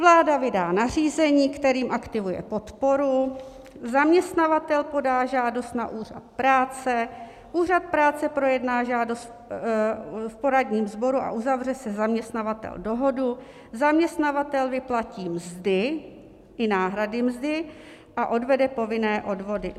Vláda vydá nařízení, kterým aktivuje podporu, zaměstnavatel podá žádost na Úřad práce, Úřad práce projedná žádost v poradním sboru a uzavře se zaměstnavatelem dohodu, zaměstnavatel vyplatí mzdy i náhrady mzdy a odvede povinné odvody.